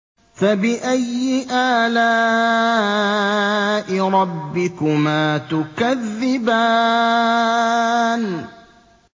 فَبِأَيِّ آلَاءِ رَبِّكُمَا تُكَذِّبَانِ